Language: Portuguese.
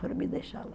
Foram me deixar lá.